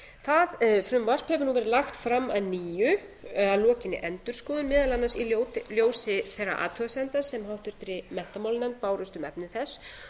það frumvarp hefur nú verið lagt fram að nýja að lokinni endurskoðun meðal annars í ljósi þeirra athugasemda sem háttvirtur menntamálanefnd bárust um efni þess